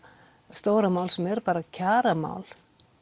stóra mál sem er bara kjaramál